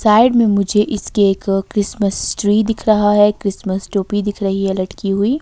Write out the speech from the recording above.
Side में मुझे इसके एक क्रिसमस ट्री दिख रहा है क्रिसमस टोपी दिख रही है लटकी हुई।